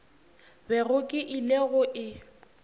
bego ke ile go e